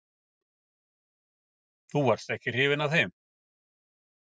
Magnús Hlynur: Þú varst ekki hrifin af þeim?